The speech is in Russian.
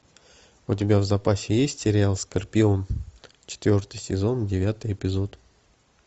у тебя в запасе есть сериал скорпион четвертый сезон девятый эпизод